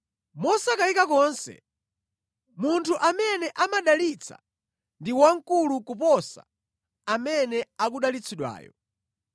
Mosakayika konse, munthu amene amadalitsa ndi wamkulu kuposa amene akudalitsidwayo.